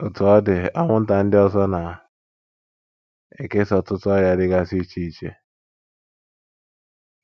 Otú ọ dị, anwụnta ndị ọzọ na - ekesa ọtụtụ ọrịa dịgasị iche iche.